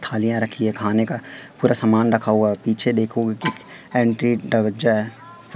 थालिया रखी है खाने का पुरा समान रखा हुआ पीछे देखो की एंटी टवचा।--